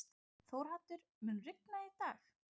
Þórhaddur, mun rigna í dag?